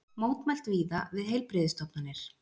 Mótmælt víða við heilbrigðisstofnanir